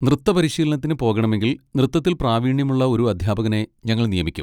നൃത്തപരിശീലനത്തിന് പോകണമെങ്കിൽ നൃത്തത്തിൽ പ്രാവീണ്യമുള്ള ഒരു അധ്യാപകനെ ഞങ്ങൾ നിയമിക്കും.